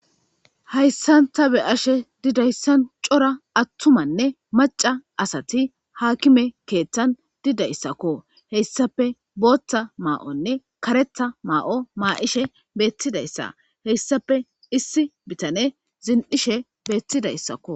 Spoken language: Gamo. Hayssan ta beyashe dizayssan cora attumanne maca asati haakime keeththan dizayssakko hessappe booththa ma'onne kareththa ma'o maa'ishe bettidayssa hissape issippe biittaney zini'idi beetidaysakko.